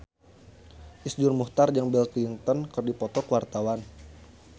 Iszur Muchtar jeung Bill Clinton keur dipoto ku wartawan